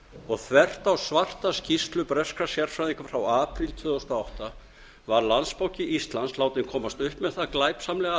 og þvert á svarta skýrslu breskra sérfræðinga frá apríl tvö þúsund og átta var landsbanki íslands látinn komast upp með það glæpsamlega